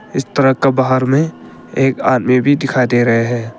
इस ट्रक का बाहर में एक आदमी भी दिखाई दे रहे हैं।